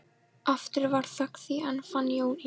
Aftur varð þögn því enn fann Jón engin orð.